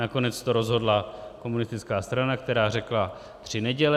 Nakonec to rozhodla komunistická strana, která řekla tři neděle.